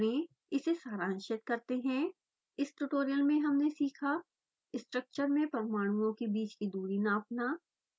इसे सारांशित करते हैं इस ट्यूटोरियल में हमने सीखा: स्ट्रक्चर में परमाणुओं के बीच की दूरी नापना